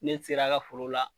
Ne sera a ka forow la.